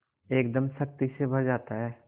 एकदम शक्ति से भर जाता है